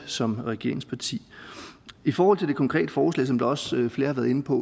som regeringsparti i forhold til det konkrete forslag som også flere har været inde på